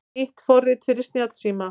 Nýtt forrit fyrir snjallsíma